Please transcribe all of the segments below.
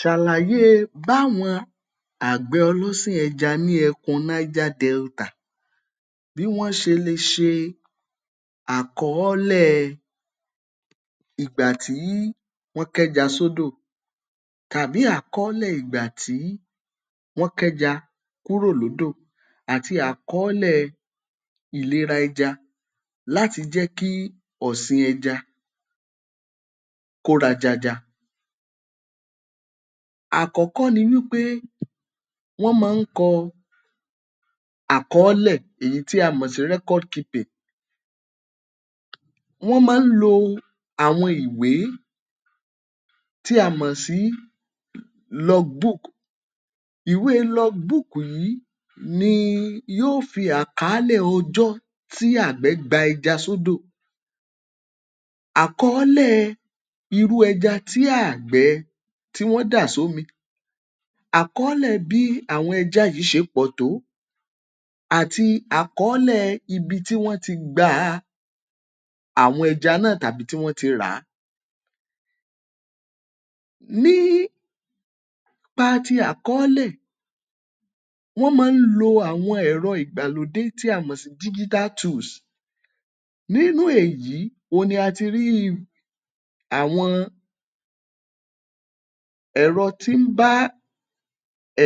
Ṣàlàyé e báwọn àgbẹ̀ ọlọ́sìn ẹja ní ẹkùn Niger Delta bí wọ́n ṣe le ṣe àkọọ́lẹ̀ ìgbà tí wọ́n kẹ́ja sódò tàbí àkọọ́lẹ̀ ìgbà tí wọ́n kẹ́ja kúrò lódò àti àkọọ́lẹ̀ ìlera ẹja láti jẹ́ kí ọ̀sìn ẹja kó rajaja. Àkọ́kọ́ ni wí pé wọ́n mọ́n ń kọ àkọọ́lẹ̀ èyí tí a mọ̀ sí record keeping. Wọ́n máa ń lo àwọn ìwé tí a mọ̀ sí log book. Ìwé log book yìí ni yóò fi àkàálẹ̀ ọjọ́ tí àgbẹ̀ gba ẹja sódò, àkọọ́lẹ̀ irú ẹja tí àgbẹ̀ tí wọ́n dà sómi, àkọọ́lẹ̀ bí àwọn ẹja yìí ṣe pọ̀ tó, àti àkọọ́lẹ̀ ibi tí wọ́n ti gba àwọn ẹja náà tàbí tí wọ́n ti rà á. Nípa ti àkọọ́lẹ̀, wọ́n máa ń lo àwọn ẹ̀rọ ìgbàlódé tí a mọ̀ sí digital tools. Nínú èyí ohun ni a ti rí àwọn ẹ̀rọ tí ń bá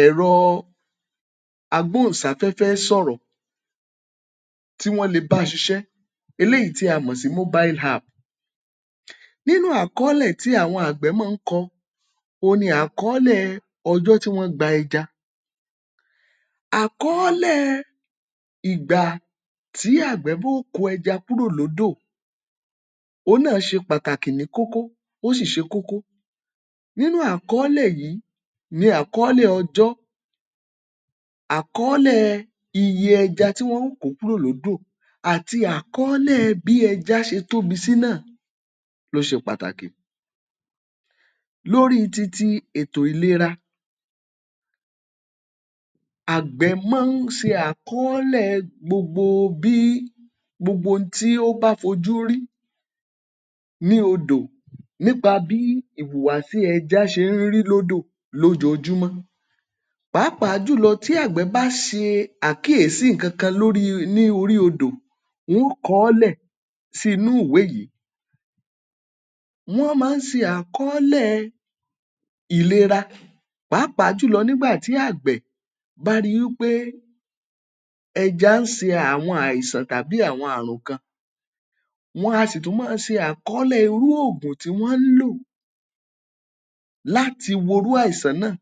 ẹ̀rọ agbòhùnsáfẹ́fẹ́ sọ̀rọ̀ tí wọ́n le bá ṣiṣẹ́, eléyìí tí a mọ̀ sí mobile app. Nínú àkọọ́lẹ̀ tí àwọn àgbẹ̀ máa ń kọ ohun ni àkọọ́lẹ̀ ọjọ́ tí wọ́n gba ẹja. Àkọọ́lẹ̀ ìgbà tí àgbẹ̀ kó ẹja kúrò lódò òhun náà ṣe pàtàkì ní kókó, ó sì ṣe kókó. Nínú àkọọ́lẹ̀ yìí ni àkọọ́lẹ̀ ọjọ́, àkọọ́lẹ̀ iye ẹja tí wọn ó kó kúrò lódò, àti àkọọ́lẹ̀ bí ẹja ṣe tóbi sí náà ló ṣe pàtàkì. Lórí ti ti ètò ìlera, àgbẹ̀ máa ń ṣe àkọọ́lẹ̀ gbogbo bí gbogbo n tó bá fojú rí ní odò nípa bí ìhùwàsí ẹja ṣe ń rí lódò lójoojúmọ́. Pàápàá jùlọ tí àgbẹ̀ bá ṣe àkíyèsí nǹkan kan lórí ní orí odò, wọn ó kọ ọ́ lẹ̀ sí inú ìwé yìí. Wọ́n máa ń ṣe àkọọ́lẹ̀ ìlera, pàápàá jùlọ nígbà tí àgbẹ̀ bá rí i wí pé ẹja ń ṣe àwọn àìsàn tàbí àwọn àrùn kan. Wọn a sì tún máa ṣe àkọọ́lẹ̀ irú ògùn tí wọ́n ń lò láti wo irú àìsàn náà.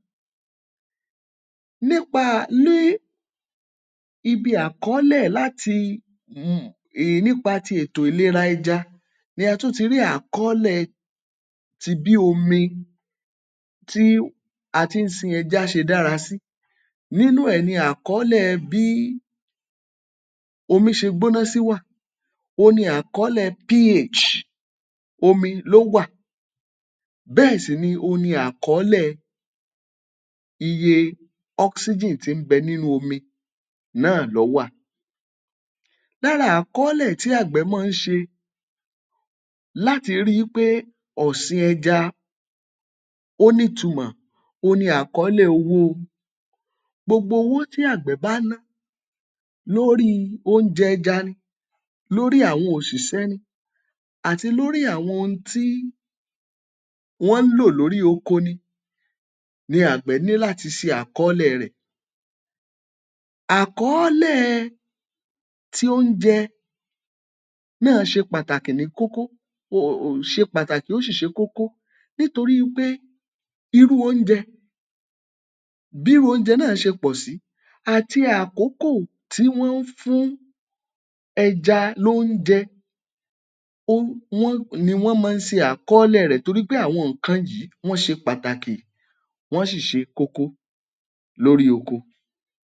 Nípa ní ibi àkọọ́lẹ̀ láti um nípa ti ètò ìlera ẹja ni a tún ti rí àkọọ́lẹ̀ ti bí omi tí a ti ń sin ẹja ṣe dára sí. Nínú ẹ̀ ni àkọọ́lẹ̀ bí omi ṣe gbóná sí wà, ohun ni àkọọ́lẹ̀ ph omi ló wà, bẹ́ẹ̀ sì ni ohun ni àkọọ́lẹ̀ iye oxygen tí ḿ bẹ nínú omi náà ló wà. Lára àkọọ́lẹ̀ tí àgbẹ̀ máa ń ṣe láti rí í pé ọ̀sìn ẹja ó nítumọ̀ ohun ni àkọọ́lẹ̀ owó. Gbogbo owó tí àgbẹ̀ bá ná lórí oúnjẹ ẹja ni, lórí àwọn òṣìṣẹ́ ni, àti lórí àwọn ohun tí wọ́n ń lò lórí oko ni ni àgbẹ̀ ní láti ṣe àkọọ́lẹ̀ rẹ̀. Àkọọ́lẹ̀ ti oúnjẹ náà ṣe pàtàkì ní kókó um ṣe pàtàkì ó sì ṣe kókó nítorí wí pé irú oúnjẹ, bírú oúnjẹ náà ṣe pọ̀ sí, àti àkókò tí wọ́n ń fún ẹja lóúnjẹ um ni wọ́n máa ń ṣe àkọọ́lẹ̀ rẹ̀ torí pé àwọn nǹkan yìí wọ́n ṣe pàtàkì, wọ́n ṣì ṣe kókó lórí oko.